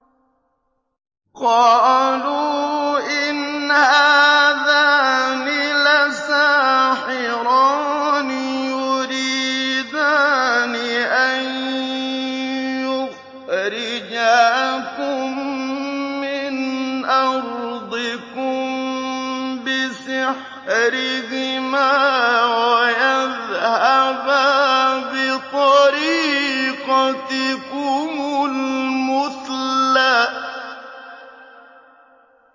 قَالُوا إِنْ هَٰذَانِ لَسَاحِرَانِ يُرِيدَانِ أَن يُخْرِجَاكُم مِّنْ أَرْضِكُم بِسِحْرِهِمَا وَيَذْهَبَا بِطَرِيقَتِكُمُ الْمُثْلَىٰ